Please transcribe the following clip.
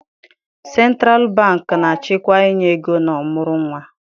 Sentralụ bankị na-achịkwa inye ego na ọmụrụ nwa.